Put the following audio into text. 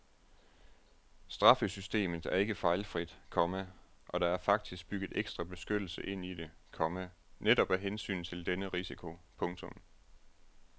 Straffesystemet er ikke fejlfrit, komma og der er faktisk bygget ekstra beskyttelse ind i det, komma netop af hensyn til denne risiko. punktum